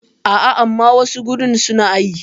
A a, amma wasu gurin su na yi.